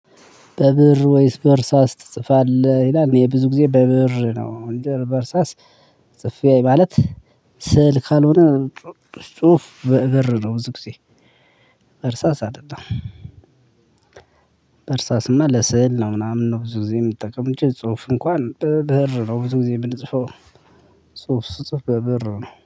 ብእር ወይስ በእርሳስ ትጽፋለህ ይላል እኔ ብዙ ጊዜ በብእር ነው እንጅ በእርሳስ ጽፌ ማለት ስዕል ካልሆነ ፅሁፉ በብእር ነው ብዙ ጊዜ። እርሳስ አደለም። በእርሳስማ ለስዕል ነው ምናምን ነው ብዙ ጊዜ የምጠቀም እንጂ ጽሁፍ እንኳን በብእር ነው ብዙ ጊዜ የምንጽፈው። ጽሁፍ ስጽፍ በብእር ነው